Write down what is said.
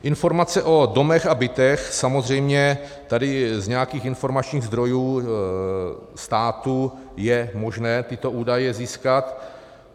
Informace o domech a bytech - samozřejmě tady z nějakých informačních zdrojů státu je možné tyto údaje získat.